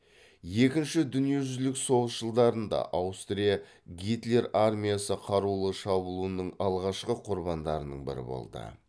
екінші дүниежүзілік соғыс жылдарында аустрия гитлер армиясы қарулы шабуылының алғашқы құрбандарының бірі болды